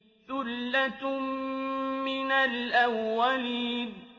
ثُلَّةٌ مِّنَ الْأَوَّلِينَ